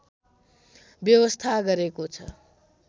व्यवस्था गरेको छ